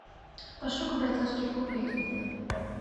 пошукай бойцовский клуб эйч д